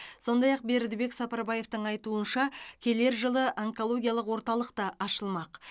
сондай ақ бердібек сапарбаевтың айтуынша келер жылы онкологиялық орталық та ашылмақ